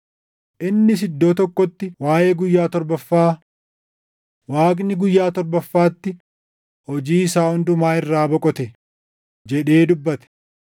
Innis iddoo tokkotti waaʼee guyyaa torbaffaa; “Waaqni guyyaa torbaffaatti hojii isaa hundumaa irraa boqote” + 4:4 \+xt Uma 2:2\+xt* jedhee dubbate.